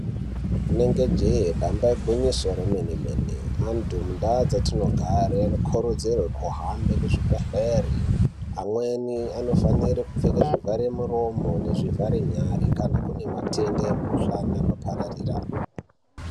Rinenge jee damba igwinyiso remenemene antu mundau dzatinogare anokurudzirwe kuhambe kuzvibhehlere amweni anofanire kupfeke zvivhare muromo nezvivhare nyara kana kune matenda emukhuhlani anopararira.